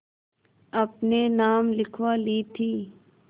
अपने नाम लिखवा ली थी